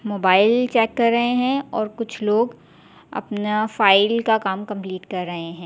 Mobile check कर रहे हैं और कुछ लोग अपना फाइल का काम कंप्लीट कर रहे हैं।